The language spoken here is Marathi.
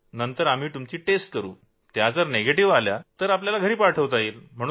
नंतर आम्ही तुमच्या चाचण्या करू आणि त्या निगेटिव्ह आल्या तर आपल्याला घरी पाठवता येईल